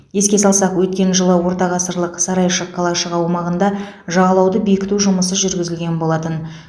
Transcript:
еске салсақ өткен жылы ортағасырлық сарайшық қалашығы аумағында жағалауды бекіту жұмысы жүргізілген болатын